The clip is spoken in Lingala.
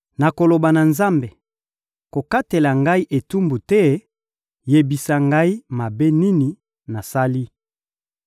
Nakoloba na Nzambe: ‹Kokatela ngai etumbu te, yebisa ngai mabe nini nasali!›